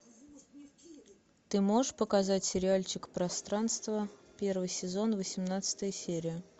ты можешь показать сериальчик пространство первый сезон восемнадцатая серия